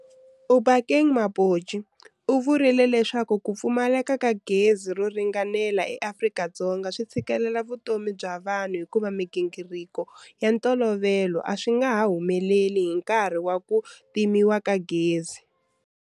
Obakeng Mabotja u vurile leswaku ku pfumaleka ka gezi ro ringanela eAfrika-Dzonga swi tshikelela vutomi bya vanhu hikuva migingiriko ya ntolovelo a swi nga ha humeleli hi nkarhi wa ku timeka ka gezi.